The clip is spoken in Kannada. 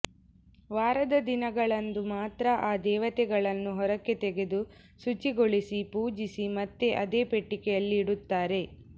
ವಾರದ ದಿನಗಳಂದು ಮಾತ್ರ ಆ ದೇವತೆಗಳನ್ನು ಹೊರಕ್ಕೆ ತೆಗೆದು ಶುಚಿಗೊಳಿಸಿ ಪೂಜಿಸಿ ಮತ್ತೆ ಅದೇ ಪೆಟ್ಟಿಗೆಯಲ್ಲಿ ಇಡುತ್ತಾರೆ